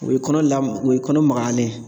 O ye kɔnɔ lamɔ o ye kɔnɔ magayalen ye.